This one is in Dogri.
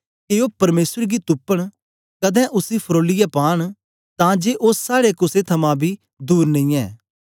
के ओ परमेसर गी तुपन कदें उसी फरोलीयै पांन तां जे ओ साड़े कुसे थमां बी दूर नेईयैं